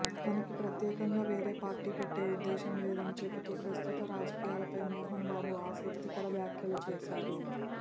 తనకి ప్రత్యేకంగా వేరే పార్టీ పెట్టే ఉద్దేశం లేదని చెబుతూ ప్రస్తుత రాజకీయాలపై మోహన్ బాబు ఆసక్తికర వ్యాఖ్యలు చేశారు